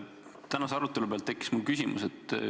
Tänase arutelu põhjal tekkis mul küsimus.